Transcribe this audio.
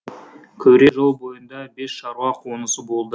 күре жол бойында бес шаруа қонысы болды